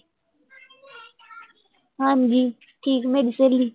ਹਾਂਜੀ, ਠੀਕ ਹੈ ਮੇਰੀ ਸਹੇਲੀ